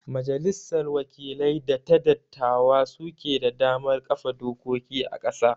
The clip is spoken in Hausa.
majalissar wakilai da ta dattawa su ke da damar kafa dokoki a ƙasa